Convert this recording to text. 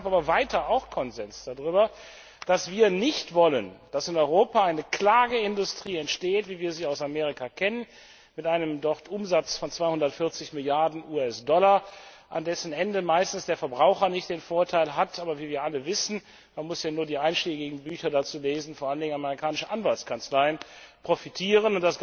Es gab aber weiter auch Konsens darüber, dass wir nicht wollen, dass in Europa eine Klageindustrie entsteht, wie wir sie aus Amerika kennen, mit einem Umsatz von 240 Milliarden US Dollar, wobei am Ende meistens nicht der Verbraucher den Vorteil hat, sondern wie wir alle wissen, man muss ja nur die einschlägigen Bücher dazu lesen vor allen Dingen die amerikanischen Anwaltskanzleien profitieren.